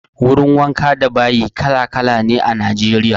Wurin wanka da bayi kala-kala ne a Najeriya.